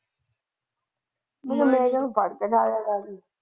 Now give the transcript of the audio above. ਮੈਨੂੰ ਫੜ ਲੈ ਨਾਲ ਲੱਗੀ।